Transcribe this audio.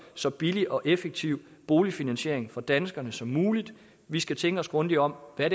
så billig og effektiv boligfinansiering for danskerne som muligt vi skal tænke os grundigt om med